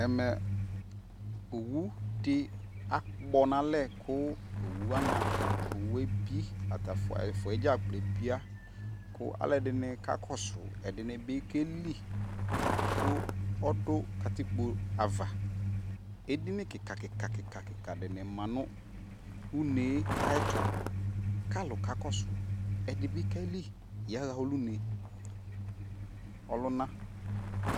ɛmɛ owu di akpɔ no alɛ ko owu wani owue bi ata ɛfua dza kplo ebia ko alo edini ka kɔso edini bi keli ko ɔdu katikpo ava edini keka keka keka dini ma no une ayɛto ko alo ka kɔso ɛdi bi ke li ya ɣa ɔlo ne ɔlona